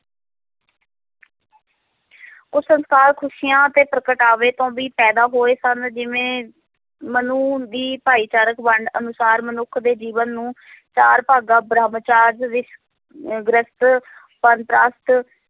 ਉਹ ਸੰਸਕਾਰ, ਖ਼ੁਸ਼ੀਆਂ ਤੇ ਪ੍ਰਗਟਾਵੇ ਤੋਂ ਵੀ ਪੈਦਾ ਹੋਏ ਸਨ, ਜਿਵੇਂ ਮਨੂ ਦੀ ਭਾਈਚਾਰਕ ਵੰਡ ਅਨੁਸਾਰ ਮਨੁੱਖ ਦੇ ਜੀਵਨ ਨੂੰ ਚਾਰ ਭਾਗਾਂ ਬ੍ਰਹਮਚਰਜ ਵਿੱਚ ਅਹ ਗ੍ਰਿਹਸਥ ਬਾਨਪ੍ਰਸਥ